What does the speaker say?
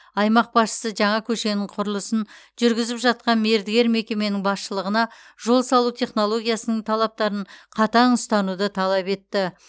аймақ басшысы жаңа көшенің құрылысын жүргізіп жатқан мердігер мекеменің басшылығына жол салу технологиясының талаптарын қатаң ұстануды талап етті